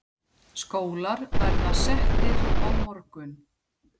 Skólar verða settir á morgun.